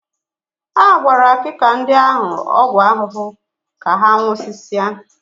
A gbara akịka ndị ahụ ọgwụ ahụhụ ka ha nwụsịsịa